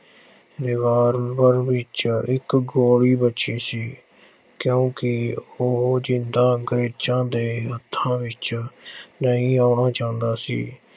revolver ਵਿੱਚ ਇੱਕ ਗੋਲੀ ਬਚੀ ਸੀ, ਕਿਉਂ ਕਿ ਉਹ ਜ਼ਿੰਦਾ ਅੰਗਰੇਜ਼ਾਂ ਦੇ ਹੱਥਾਂ ਵਿੱਚ ਨਹੀਂ ਆਉਣਾ ਚਾਹੁੰਦਾ ਸੀ।